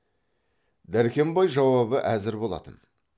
дәркембай жауабы әзір болатын